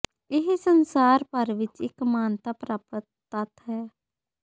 ਇਹ ਸੰਸਾਰ ਭਰ ਵਿੱਚ ਇਕ ਮਾਨਤਾ ਪ੍ਰਾਪਤ ਤੱਥ ਹੈ